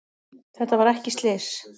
Þetta var ekki slys